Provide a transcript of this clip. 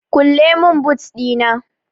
kulle min boot Dina!